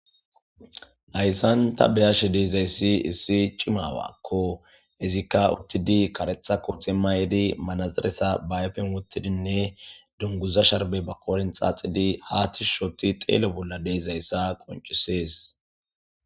Hayssan ta beyashe deezayssi issi cimawakko izikka uttidi karetha ko timma yedi manaziresa bayfen wottidinne dunguza sharbe ba kooren xaaxidi haatishushooti xeelo bolla deezayssa qoncisees